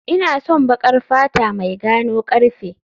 Ina son baƙar fata mai gano karfe